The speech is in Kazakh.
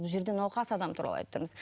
бұл жерде науқас адам туралы айтып тұрмыз